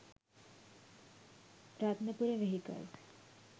rathnapura vehicals